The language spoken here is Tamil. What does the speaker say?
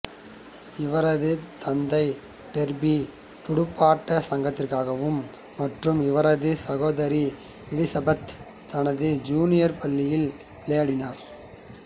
இவரது தந்தை டெர்பி துடுப்பாட்டச் சங்கத்திற்காகவும் மற்றும் இவரது சகோதரி எலிசபெத் தனது ஜூனியர் பள்ளியில் விளையாடினார்